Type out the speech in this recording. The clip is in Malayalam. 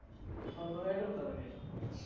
ഓ സുഖായിട്ട് കിട്ടു അതൊക്കെ